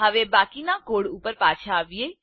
હવે બાકીના કોડ ઉપર પાછા આવીએ